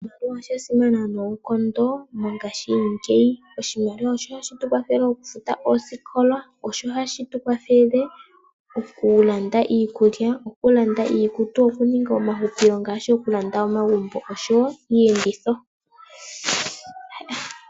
Oshimaliwa osha simana noonkondo mongaashingeyi. Oshimaliwa osho hashi tu kwathele oku futa oosikola, okulanda iikulya, okulanda iikutu, okuninga omahupilo ngaashi oku landa omagumbo oshowo iiyenditho.